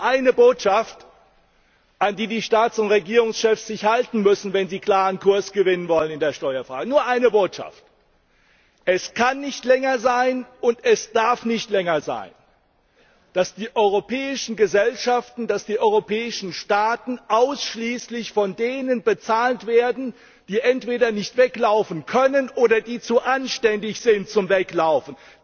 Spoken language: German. Es gibt nur eine Botschaft, an die sich die Staats und Regierungschefs halten müssen, wenn sie in der Steuerfrage klaren Kurs gewinnen wollen nur eine Botschaft Es kann nicht länger sein und es darf nicht länger sein, dass die europäischen Gesellschaften, die europäischen Staaten ausschließlich von denen bezahlt werden, die entweder nicht weglaufen können oder die zu anständig sind, um wegzulaufen.